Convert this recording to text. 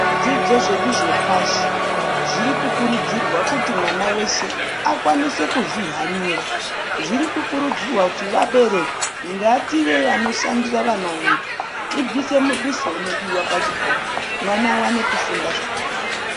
Zvidzidzo zvedu zvepashi zvirikukurudzirwa kuti mwana weshe akwanise kuzvihanira. Zvirikukurudzirwa kuti vabereki ngative vanoshandisa vananvedu tiduse mudusonumodiwa pachikora, mwana awane kufunda zvakanaka.